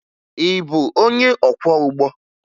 Ị bụ onye ọkwọụgbọ?